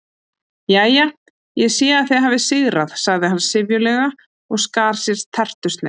Jæja, ég sé að þið hafið sigrað sagði hann syfjulega og skar sér tertusneið.